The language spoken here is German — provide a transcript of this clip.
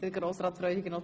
– Das ist der Fall.